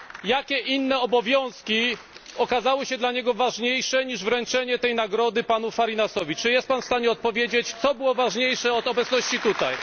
Jakie inne obowiązki okazały się dla niego ważniejsze niż wręczenie tej nagrody panu Fariñasowi? Czy jest Pan w stanie odpowiedzieć, co było ważniejsze od obecności tutaj?